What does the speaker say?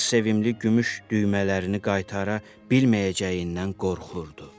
Hans sevimli gümüş düymələrini qaytara bilməyəcəyindən qorxurdu.